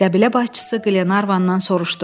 Qəbilə başçısı Qlenarvandan soruşdu.